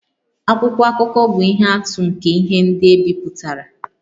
Akwụkwọ akụkọ bụ ihe atụ nke ihe ndị e bipụtara